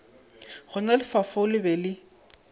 gona lefaufau le be le